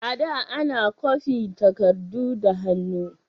A da, ana kwafi takardu da hannu.